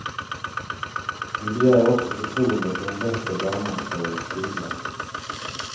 Vi begär också förtroende för en bättre barnomsorg och skola.